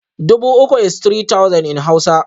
Dubu uku is three thousand in Hausa